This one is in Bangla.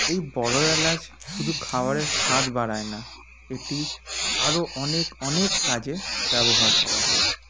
এই বড়ো এলাচ শুধু খাওয়ারের স্বাদ বাড়ায় না এটি আরও অনেক অনেক কাজে ব্যবহার করা হয়